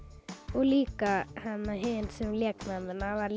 og líka hin sem lék mömmuna var